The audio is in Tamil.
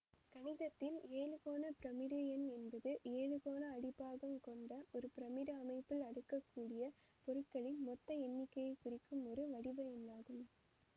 கணிதத்தில் எழுகோண பிரமிடு எண் என்பது எழுகோண அடிப்பாகங் கொண்ட ஒரு பிரமிடு அமைப்பில் அடுக்கக் கூடிய பொருட்களின் மொத்த எண்ணிக்கையை குறிக்கும் ஒரு வடிவ எண்ணாகும்